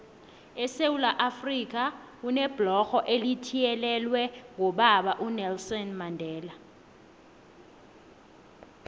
esewula afrika kunebhlorho elithiyelelwe ngobaba unelson mandela